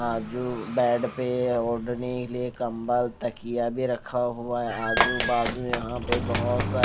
bed पे ओडने के लिए कंबल तकिया भी रखा हुआ है आजू बाजू यहां पे बहुत--